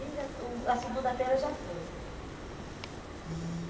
E já o a segunda-feira já foi. E